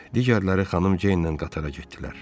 Digərləri xanım Ceyn ilə qatara getdilər.